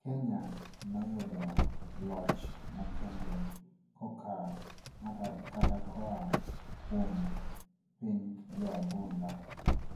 Kenya ne oyudo loch makende koka kata koa kuom piny jo agonda